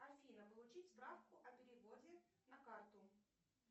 афина получить справку о переводе на карту